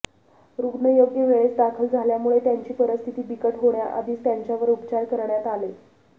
रुग्ण योग्य वेळेस दाखल झाल्यामुळे त्यांची परिस्थिती बिकट होण्याआधीच त्यांच्यावर उपचार करण्यात आले